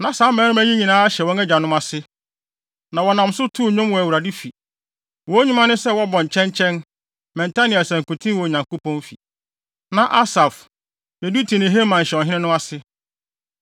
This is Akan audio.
Na saa mmarima yi nyinaa hyɛ wɔn agyanom ase, na wɔnam so too nnwom wɔ Awurade fi. Wɔn nnwuma ne sɛ wɔbɔ kyɛnkyɛn, mmɛnta ne asankuten wɔ Onyankopɔn fi. Na Asaf, Yedutun ne Heman hyɛ ɔhene no ase.